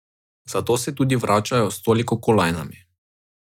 Zato se tudi vračajo s toliko kolajnami.